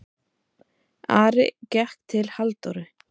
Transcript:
Ari gekk til Halldóru.